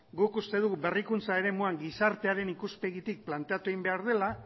guk uste dugu berrikuntza eremuan gizartearen ikuspegitik planteatu egin behar dela